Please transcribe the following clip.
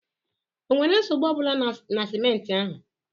Ọ nwere nsogbu ọ bụla na simenti?